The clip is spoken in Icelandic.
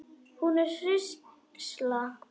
Hún er hrísla.